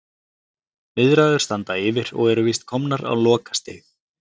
Viðræður standa yfir og eru víst komnar á lokastig.